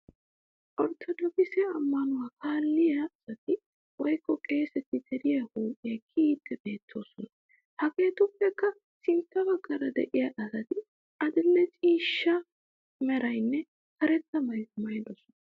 Orttodookise ammanuwaa kaalettiyaa asati wokko qeeseti deriyaa huuphphiyaa kiyiiddi beettoosona. Hegeetuppekka sintta baggaara de'iyaa asati adil'e ciishsha meraanne karetga maayuwaa maayidisona.